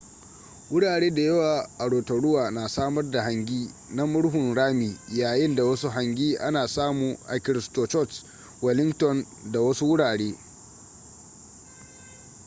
wurare da yawa a rotorua na samar da hangi na murhun rami yayin da wasu hangi ana samu a christchurch wellington da wasu wurare